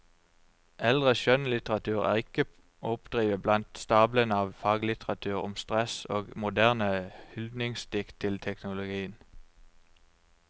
Eldre skjønnlitteratur er ikke å oppdrive blant stablene av faglitteratur om stress og moderne hyldningsdikt til teknologien.